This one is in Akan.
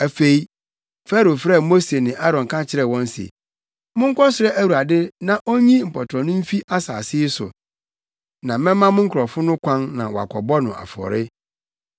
Afei, Farao frɛɛ Mose ne Aaron ka kyerɛɛ wɔn se, “Monkɔsrɛ Awurade na onyi mpɔtorɔ no mfi asase yi so, na mɛma mo nkurɔfo no kwan na wɔakɔbɔ no afɔre.”